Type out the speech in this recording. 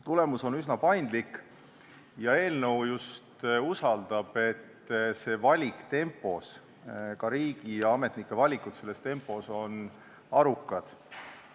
Tulemus on üsna paindlik ja eelnõu usaldab, et see valik, ka riigiametnike valikud selles tempos on arukad.